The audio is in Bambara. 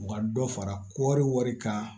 U ka dɔ fara kɔɔri wari kan